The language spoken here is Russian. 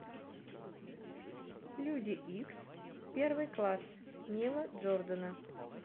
люди икс первый класс нила джордана